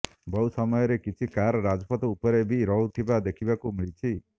ବହୁ ସମୟରେ କିଛି କାର୍ ରାଜପଥ ଉପରେ ବି ରହୁଥିବା ଦେଖିବାକୁ ମିଳୁଛି